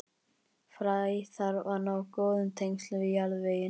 Fræ þarf að ná góðum tengslum við jarðveginn.